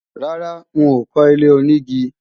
Rárá, n ò kọ́ ilé-onígi